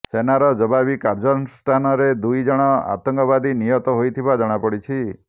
ସେନାର ଜବାବୀ କାର୍ଯ୍ୟାନୁଷ୍ଠାନରେ ଦୁଇ ଜଣ ଆତଙ୍କବାଦୀ ନିହତ ହୋଇଥିବା ଜଣାପଡିଛି